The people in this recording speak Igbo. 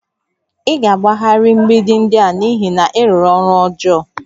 Ị ga-agbagharị mgbidi ndị a n'ihi na ị rụrụ ọrụ ọjọọ